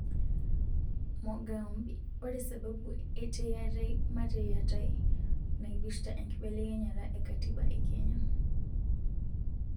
Mogambi:oresababu e teyiatai mateyatai naipirta enkibelekenyata e katiba e kenya.